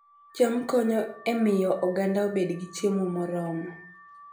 cham konyo e miyo oganda obed gi chiemo moromo